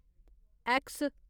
X